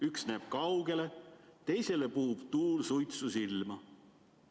Üks näeb kaugele, teisele puhub tuul suitsu silma.